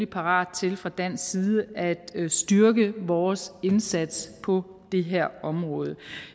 parat til fra dansk side at styrke vores indsats på det her område